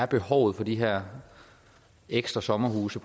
behov for de her ekstra sommerhuse